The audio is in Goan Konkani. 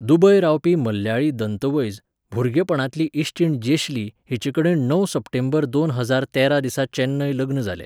दुबय रावपी मल्याळी दंतवैज, भुरगेपणांतली इश्टीण जेशली, हिचेकडेन णव सप्टेंबर दोन हजार तेरा दिसा चेन्नय लग्न जालें.